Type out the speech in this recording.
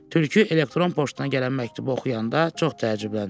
Tülkü elektron poçtuna gələn məktubu oxuyanda çox təəccübləndi.